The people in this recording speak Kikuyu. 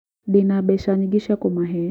Ndĩna mbeca nyingĩ cia kũmahe